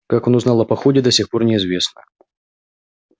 как он узнал о походе до сих пор неизвестно